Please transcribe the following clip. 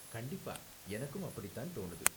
கண்டிப்பா, எனக்கும் அப்படித்தான் தோணுது.